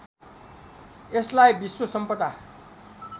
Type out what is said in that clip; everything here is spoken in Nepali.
यसलाई विश्व सम्पदा